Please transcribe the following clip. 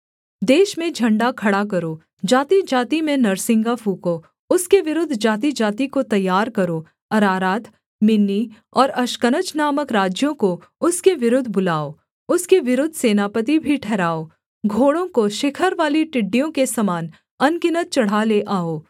देश में झण्डा खड़ा करो जातिजाति में नरसिंगा फूँको उसके विरुद्ध जातिजाति को तैयार करो अरारात मिन्नी और अश्कनज नामक राज्यों को उसके विरुद्ध बुलाओ उसके विरुद्ध सेनापति भी ठहराओ घोड़ों को शिखरवाली टिड्डियों के समान अनगिनत चढ़ा ले आओ